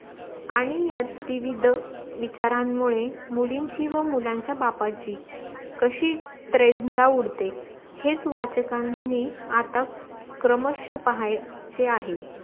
आणी या त्रिविद विचारांनमूदे मुलींची व मुलांची बापाची कशी त्रेन्धा उडते हेच वाचकांनी आता क्रमश्य पाहायचे आहे